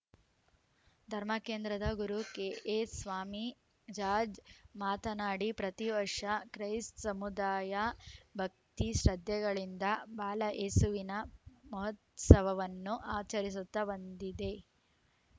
ಧರ್ಮಕೇಂದ್ರದ ಗುರು ಕೆಎ ಸ್ವಾಮಿಜಾಜ್‌ ಮಾತನಾಡಿ ಪ್ರತಿವರ್ಷ ಕ್ರೈಸ್ತ ಸಮುದಾಯ ಭಕ್ತಿ ಶ್ರದ್ಧೆಗಳಿಂದ ಬಾಲಯೇಸುವಿನ ಮಹೋತ್ಸವವನ್ನು ಆಚರಿಸುತ್ತಾ ಬಂದಿದೆ